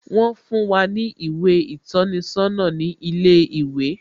Wón fún wá ní ìwé ìtọ́ni sọ́nà ní ilé ìwé